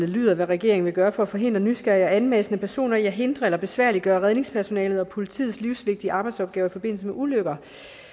lyder hvad regeringen vil gøre for at forhindre nysgerrige og anmassende personer i at hindre eller besværliggøre redningspersonalet og politiets livsvigtige arbejdsopgaver i forbindelse med ulykker